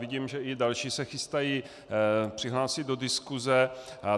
Vidím, že i další se chystají přihlásit do diskuze.